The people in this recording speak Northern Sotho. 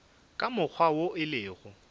ka mokgwa wo e lego